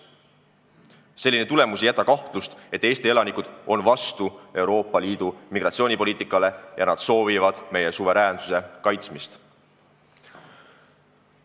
Selline tulemus ei jäta kahtlust, et Eesti elanikud on vastu Euroopa Liidu migratsioonipoliitikale ja soovivad meie suveräänsuse kaitsmist.